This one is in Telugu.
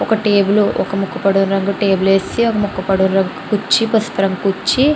ఒక టేబుల్ ఒక ముక్కు పొడుం రంగు టేబుల్ వేసి ఆ ఒక ముక్కు పొడుం రంగు కుర్చీ పసుపు రంగు కుర్చీ--